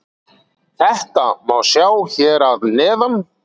Þetta má sjá hér að neðan.